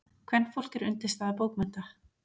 Kvenfólk er undirstaða bókmennta.